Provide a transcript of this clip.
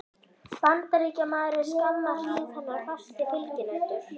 Bandaríkjamaður er skamma hríð hennar fasti fylginautur.